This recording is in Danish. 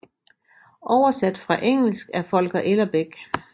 Oversat fra engelsk af Volker Ellerbeck